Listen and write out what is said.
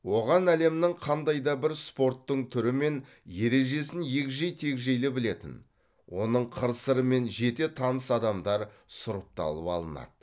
оған әлемнің қандай да бір спорттың түрі мен ережесін егжей тегжейлі білетін оның қыр сырымен жете таныс адамдар сұрыпталып алынады